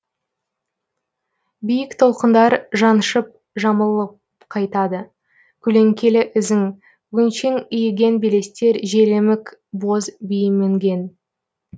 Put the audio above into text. биік толқындар жаншып жамылып қайтады көлеңкелі ізің өңшең иіген белестер желемік боз бие мінген